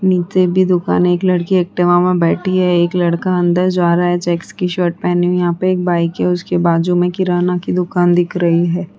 नीचे भी दुकान है एक लड़की एक्टिवा मा बैठी है। एक लड़का अंदर जा रहा है। चेक्स की शर्ट पहनी हुई। यहाँ पे एक बाइक है। उसके बाजु में किराना की दुकान दिख रही है।